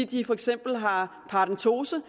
de for eksempel har paradentose